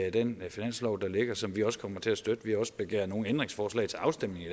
i den finanslov der ligger og som vi også kommer til at støtte vi har også begæret nogle ændringsforslag til afstemning i